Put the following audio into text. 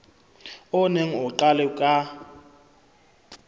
o neng o qalwe ka